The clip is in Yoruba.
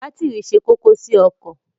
Bátìrì ṣe kókó sí ọkọ̀.